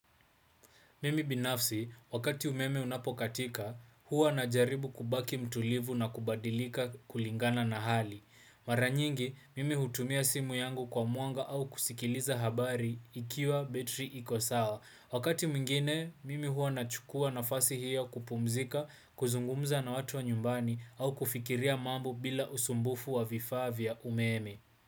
Mimi binafsi, wakati umeme unapokatika, huwa najaribu kubaki mtulivu na kubadilika kulingana na hali. Mara nyingi, mimi hutumia simu yangu kwa mwanga au kusikiliza habari ikiwa betri iko sawa. Wakati mwingine, mimi huwa nachukua nafasi hiyo kupumzika, kuzungumza na watu wa nyumbani au kufikiria mambo bila usumbufu wa vifaa vya umeme.